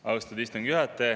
Austatud istungi juhataja!